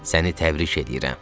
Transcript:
Səni təbrik eləyirəm.